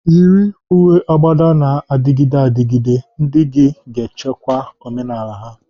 Yiri uwe agbada na-adịgide adịgide, ndị gị ga-echekwa omenala ha.